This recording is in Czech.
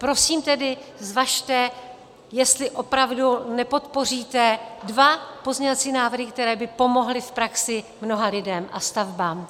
Prosím tedy, zvažte, jestli opravdu nepodpoříte dva pozměňovací návrhy, které by pomohly v praxi mnoha lidem a stavbám.